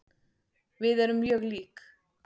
Við erum mjög lík.